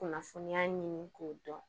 Kunnafoniya ɲini k'o dɔn